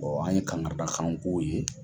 Ɔ an ye kangarida kan f'o ye.